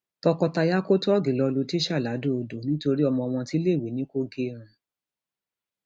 tọkọtaya kò tóògì lọọ lu tíṣà ladọodò nítorí ọmọ wọn tiléèwé ni kò gẹrun